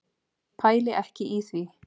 Pæli ekki í því.